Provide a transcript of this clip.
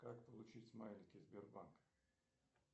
как получить смайлики сбербанка